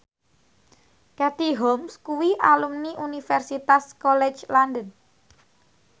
Katie Holmes kuwi alumni Universitas College London